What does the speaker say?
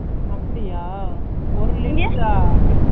அப்பிடியா ஒரு லிட்டரா ?